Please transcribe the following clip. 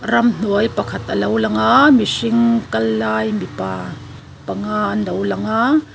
ramhnuai pakhat a lo lang a mihring kal lai mipa panga an lo lang a.